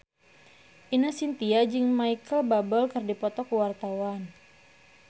Ine Shintya jeung Micheal Bubble keur dipoto ku wartawan